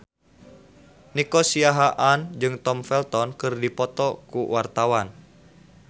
Nico Siahaan jeung Tom Felton keur dipoto ku wartawan